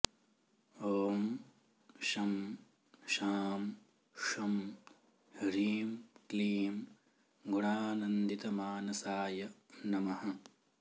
ॐ शं शां षं ह्रीं क्लीं गुणानन्दितमानसाय नमः